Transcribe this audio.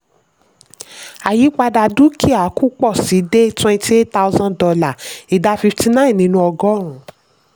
àyípadà dúkìá kù pọ̀ sí i dé twenty eight thousand dollar ìdá fifty nine nínú ọgọ́rùn-ún.